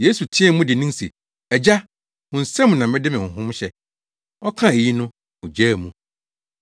Yesu teɛɛ mu dennen se, “Agya, wo nsam na mede me honhom hyɛ!” Ɔkaa eyi no, ogyaa mu.